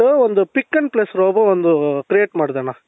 ಒಂದು pick and place robot ಒಂದು create ಮಾಡದೇಣ್ಣ